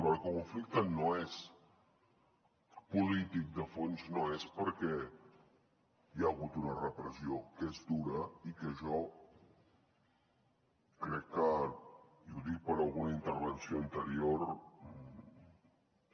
perquè el conflicte polític de fons no és perquè hi ha hagut una repressió que és dura i que jo crec que i ho dic per alguna intervenció anterior